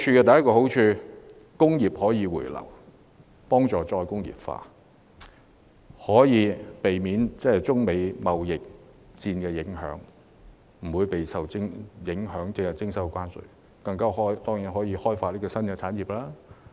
第一個好處是令工業可以回流，促進再工業化，從而避免受中美貿易戰影響，免被徵收關稅，還可以開發新產業。